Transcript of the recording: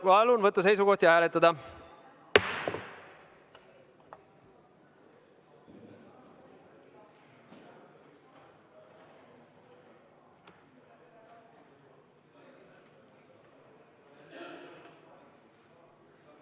Palun võtta seisukoht ja hääletada!